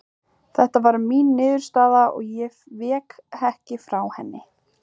Þeta var mín niðurstaða og ég vék ekki frá henni.